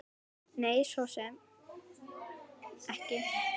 Nei, svo sem ekki.